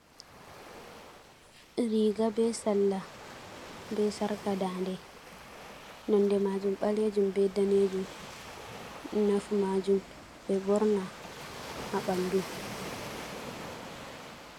Riga be sarla, be sarka daɲde. Nonde maajum baleejum be daneejum. Nafu maajum ɓe ɓorna haa ɓandu.